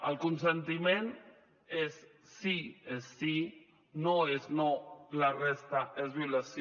el consentiment és sí és sí no és no la resta és violació